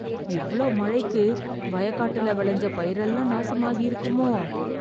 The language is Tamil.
இவ்ளோ மழைக்கு, வயக்காட்டுல வெளஞ்ச பயிரெல்லாம், நாசமாகியிருக்குமோ..